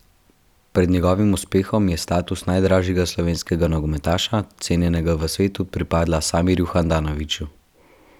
Pred njegovim uspehom je status najdražjega slovenskega nogometaša, cenjenega v svetu, pripadala Samirju Handanoviću.